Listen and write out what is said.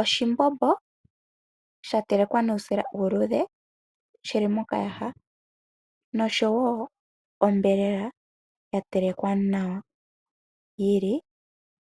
Oshimbombo sha telekwa nuusila uuludhe shi li mokayaha noshowo onyama yatelekwa nawa yili